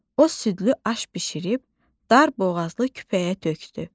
O südlü aş bişirib dar boğazlı küpəyə tökdü.